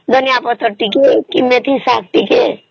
ଧନିଆ ପତ୍ର ଟିକେ କି ମେଥି ଶାଗ ଟିକେ